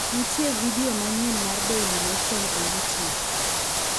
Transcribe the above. nitie vidio manyien mar daily nation e youtube